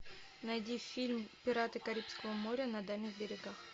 найди фильм пираты карибского моря на дальних берегах